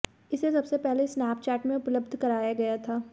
इसे सबसे पहले स्नैपचैट में उपलब्ध कराया गया था